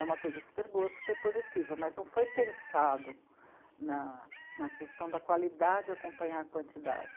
É uma coisa super boa, super positiva, mas não foi pensado na, na questão da qualidade acompanhar a quantidade.